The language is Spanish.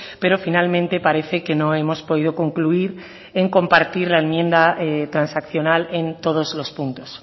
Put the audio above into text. pero finalmente parece que no hemos podido concluir en compartir la enmienda transaccional en todos los puntos